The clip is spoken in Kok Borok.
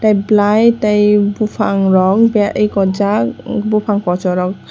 tei bulai tei bopang rog be ekojak o bopang koso rog.